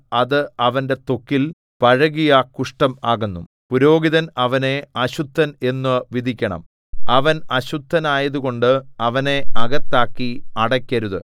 അത് അവന്റെ ത്വക്കിൽ പഴകിയ കുഷ്ഠം ആകുന്നു പുരോഹിതൻ അവനെ അശുദ്ധൻ എന്നു വിധിക്കണം അവൻ അശുദ്ധനായതുകൊണ്ട് അവനെ അകത്താക്കി അടക്കരുത്